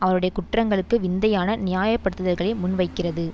அவருடைய குற்றங்களுக்கு விந்தையான நியாப்படுத்துதல்களை முன்வைக்கிறது